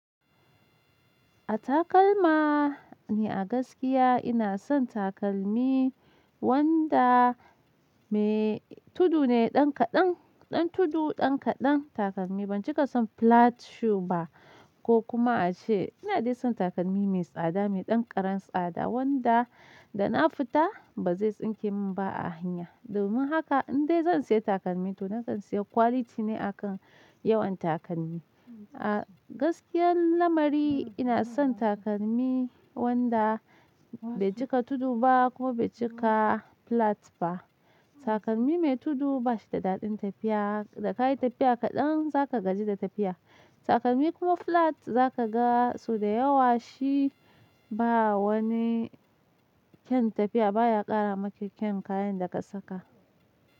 A takalma ni a gaskiya ina son takalmi wanda mai tudu ne, ɗan kaɗan, ɗan tudu ɗan kaɗan takalmi. Ban cika son flat shoe ba ko kuma a ce. Ina dai son takalmi mai tsada, mai ɗan ƙaran tsada wanda da na fita ba zai tsinke min ba a hanya. Domin haka in dai zan siya takalmi to na kan siya quality ne akan yawan takalmi. A gaskiyar lamari ina son takalmi wanda bai cika tudu ba kuma bai cika flat ba. Takalmi mai tudu ba shi da daɗin tafiya, da ka yi tafiya kaɗan za ka gaji da tafiya. Takalmi kuma flat za ka ga su da yawa shi ba wani kyan tafiya, ba ya ƙara miki kyan kayan da ka saka.